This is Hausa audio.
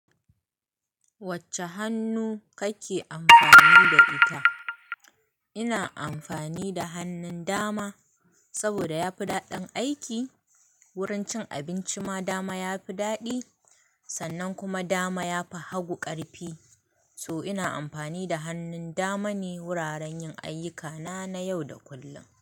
Wacce hannu kake amfani da ita? Ina amfani da hannun dama, saboda yafi daɗin aiki, wurin cin abinci ma dama yafi daɗi, sannan kuma dama yafi hagu ƙarfi. To ina amfani da hannun dama ne wuraren yin ayyukana na yau da kullum.